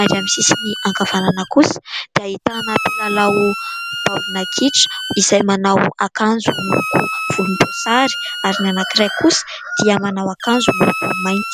ary amin'ny sisiny ankavanana kosa dia ahitana mpilalao baolina kitra izay manao akanjo miloko volombosary ary ny anankiray kosa dia manao akanjo miloko mainty.